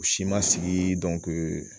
U si ma sigi